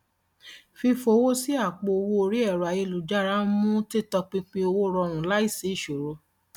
fífowó sí àpò owó orí ẹrọ ayélujára ń mú títọpinpin owó rọrùn láìsí ìṣòro